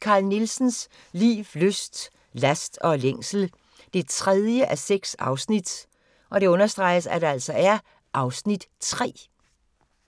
Carl Nielsens liv, lyst, last og længsel 3:6 (Afs. 3)